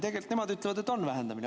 Tegelikult nemad ütlevad, et on vähendamine.